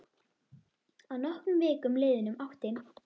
Að nokkrum vikum liðnum átti